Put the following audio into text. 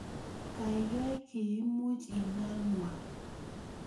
Kaikai kiimuch inanwa